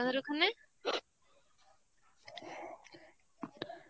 আপনাদের ওখানে.